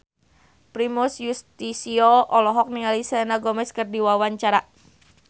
Primus Yustisio olohok ningali Selena Gomez keur diwawancara